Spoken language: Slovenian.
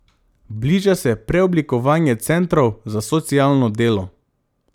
Bliža se preoblikovanje centrov za socialno delo.